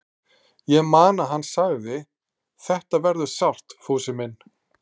Ég man að hann sagði: Þetta verður sárt, Fúsi minn.